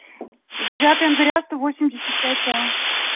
девятое января сто восемьдесят пять а